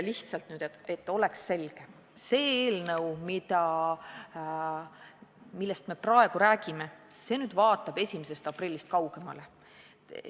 Lihtsalt, et oleks kõigile selge: see eelnõu, millest me praegu räägime, vaatab 1. aprillist kaugemale.